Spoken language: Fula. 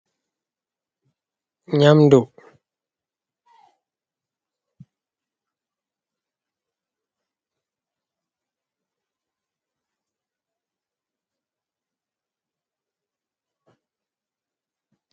nyamdu